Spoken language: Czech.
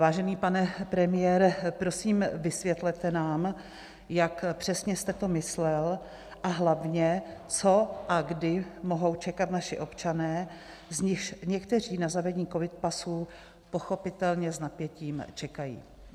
Vážený pane premiére, prosím, vysvětlete nám, jak přesně jste to myslel, a hlavně, co a kdy mohou čekat naši občané, z nichž někteří na zavedení covid pasů pochopitelně s napětím čekají.